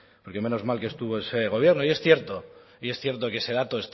porque menos mal que estuvo ese gobierno y es cierto y es cierto que ese dato